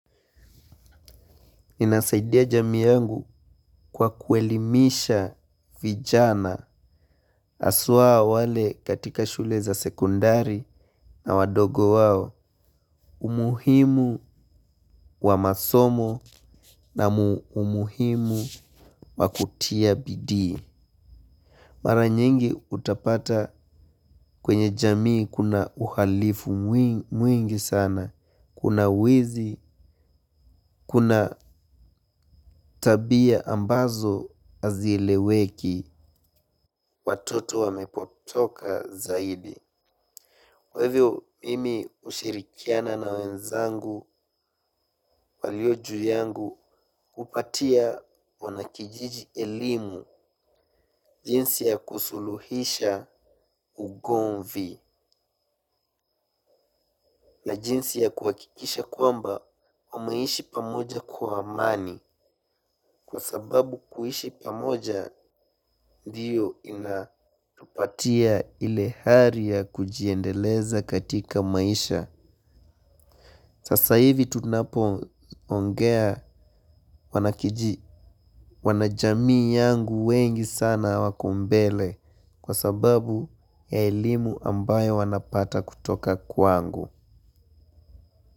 Inasaidia jamii yangu kwa kuelimisha vijana aswa wale katika shule za sekondari na wadogo wao umuhimu wa masomo na umuhimu wa kutia bidii. Mara nyingi utapata kwenye jamii kuna uhalifu mwingi sana, kuna uwizi, kuna tabia ambazo hazieleweki. Watoto wamepotoka zaidi. Kwa hivyo, mimi ushirikiana na wenzangu, waliojuu yangu, upatia wanakijiji elimu, jinsi ya kusuluhisha ugomvi. Na jinsi ya kuakikisha kwamba, wameishi pamoja kwa amani. Kwa sababu kuishi pamoja, ndiyo inatupatia ile hari ya kujiendeleza katika maisha. Sasa hivi tunapo ongea wanajamii yangu wengi sana wako mbele kwa sababu ya elimu ambayo wanapata kutoka kwangu.